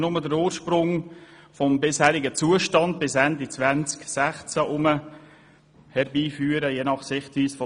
Dabei wollen wir nur den ursprünglichen Zustand, der bis Ende 2016 geherrscht hat, wiederherstellen.